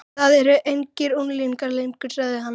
Þið eruð engir unglingar lengur sagði hann.